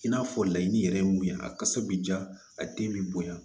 I n'a fɔ laɲini yɛrɛ ye mun ye a kasa bɛ ja a den bɛ bonya